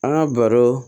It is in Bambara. An ka baro